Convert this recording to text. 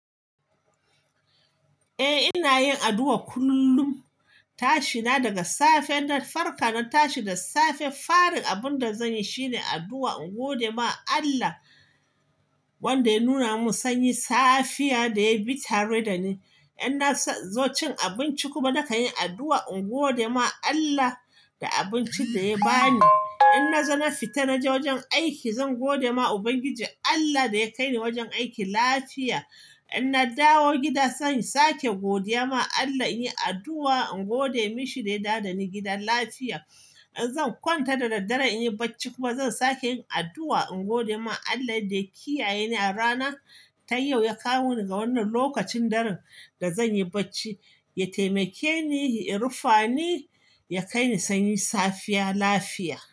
Eh ina yin addu'a kullum. Tashi na daga safe, in na farka na tashi da safe, fari abin da zan yi shine addu'a in gode ma Allah wanda ya nuna min sanyin safiya da ya bi tare da ni. In na zo cin abinci kuma, na kan yi addu'a in gode ma Allah da abincin da ya ba ni. In na zo na fita na je wajen aiki, zan gode ma Ubangiji Allah da ya kai ni wajen aiki lafiya. In na dawo gida zan sake godiya ma Allah, in yi addu'a in gode mishi da ya dawo dani gida lafiya. In zan kwanta da daddare in yi bacci kuma zan sake yin addu'a in gode ma Allah da ya kiyaye ni a rana ta yau, ya kawo ni ga wannan lokacin daren da zan yi bacci, ya taimake ni, ya rufa ni, ya kai ni sanyin safiya lafiya.